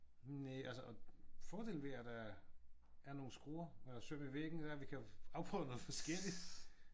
Næ altså og fordelen ved at der er nogle skruer og søm i væggen det er at vi kan afprøve noget forskelligt